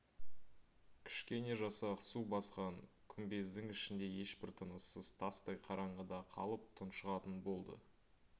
кішкене жасақ су басқан күмбездің ішінде ешбір тыныссыз тастай қараңғыда қалып тұншығатын болды